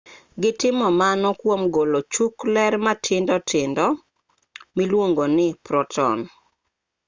gitimo mano kwom golo chuk ler matindo tindo miluongo ni proton